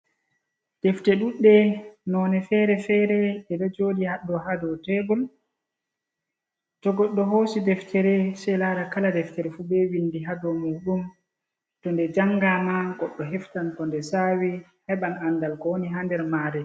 Defte dudde none fere-fere je do jodi haddo hado tebul, to goddo hosi deftere sei lara kala deftere fu be vindi hado madum to nde janga na goddo heftan ko nde sawi heban andal ko woni ha nder mare.